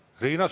Teie aeg!